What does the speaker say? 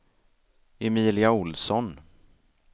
Emilia Olsson